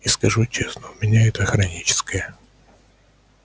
и скажу честно у меня это хроническое